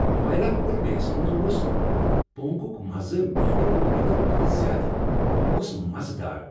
مایلاپور میسس منٛز اوس پونگلک مزٕ میانیو وۄمیدو کھۄتہٕ زیادٕ۔ یِہ اوس مزٕدار۔